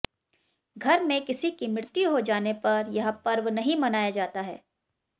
घर में किसी की मृत्यु हो जाने पर यह पर्व नहीं मनाया जाता है